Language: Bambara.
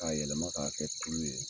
Ka yɛlɛma ka kɛ tulu ye.